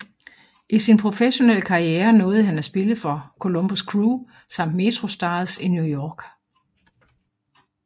I sin professionelle karriere nåede han at spille for Columbus Crew samt MetroStars i New York